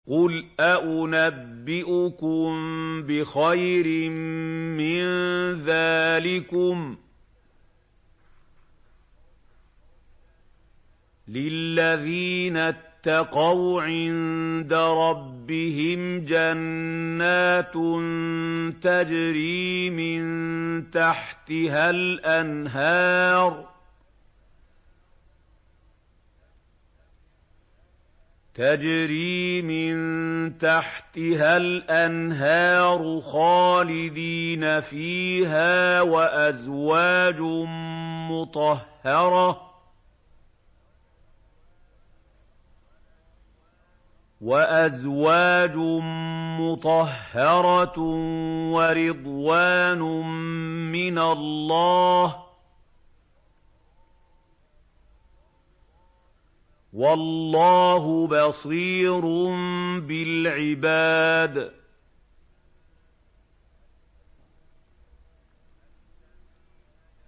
۞ قُلْ أَؤُنَبِّئُكُم بِخَيْرٍ مِّن ذَٰلِكُمْ ۚ لِلَّذِينَ اتَّقَوْا عِندَ رَبِّهِمْ جَنَّاتٌ تَجْرِي مِن تَحْتِهَا الْأَنْهَارُ خَالِدِينَ فِيهَا وَأَزْوَاجٌ مُّطَهَّرَةٌ وَرِضْوَانٌ مِّنَ اللَّهِ ۗ وَاللَّهُ بَصِيرٌ بِالْعِبَادِ